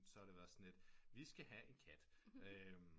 Så har været det sådan lidt vi skal have en kat